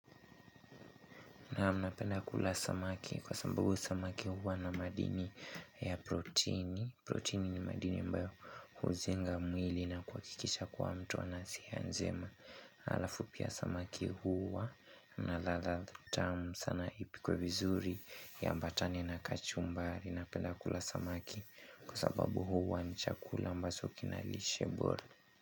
Naam napenda kula samaki kwa sambabu samaki huwa na madini ya protini. Protini ni madini ambayo huzenga mwili na kua kikisha kwa mtu anasi ya njema. Alafu pia samaki huwa na ladha tamu sana ipikwe vizuri iambatane na kachumbari napenda kula samaki kwa sababu huwa ni chakula ambacho kinalishe bora.